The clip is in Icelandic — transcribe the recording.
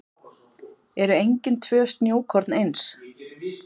Eru engin tvö snjókorn eins?